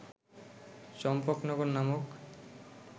চম্পকনগর নামক